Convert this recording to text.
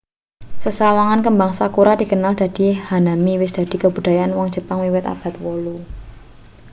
sesawangan kembang sakura dikenal dadi hanami wis dadi kabudayane wong jepang wiwit abad 8